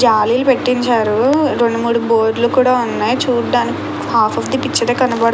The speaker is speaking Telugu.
జాలిలు పెట్టించారు రెండు మూడు బోర్లు కూడా ఉన్నాయి చూడ్డానికి హాఫ్ ఆఫ్ ద పిక్చర్ ఏ కనబడుతో --